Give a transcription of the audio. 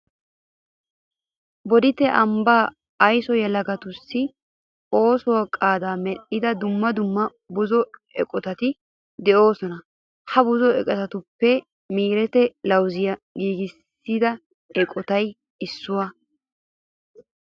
Bodditte ambbaa aysuwan yelagatussi oosuwa qaadaa medhdhida dumma dumma buzo eqotati de'oosona. Ha buzo eqotatuppe miireti lawuziya giigissiya eqotay issuwa.